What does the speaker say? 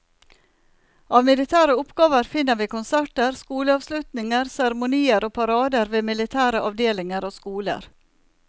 Av militære oppgaver finner vi konserter, skoleavslutninger, seremonier og parader ved militære avdelinger og skoler.